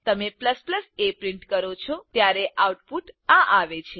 તમે a print કરો છો ત્યારે આઉટપુટ આ આવે છે